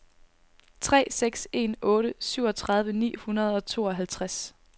tre seks en otte syvogtredive ni hundrede og tooghalvtreds